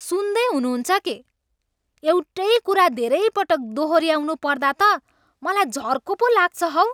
सुन्दै हुनुहुन्छ के? एउटै कुरा धेरैपटक दोहोऱ्याउनु पर्दा त मलाई झर्को पो लाग्छ हौ।